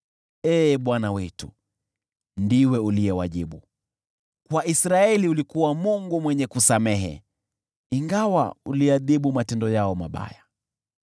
Ee Bwana , wetu, ndiwe uliyewajibu, kwa Israeli ulikuwa Mungu mwenye kusamehe, ingawa uliadhibu matendo yao mabaya.